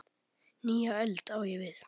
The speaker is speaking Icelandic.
Nýja öld, á ég við.